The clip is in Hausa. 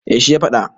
eh shi ya faɗa